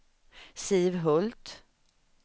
Siv Hult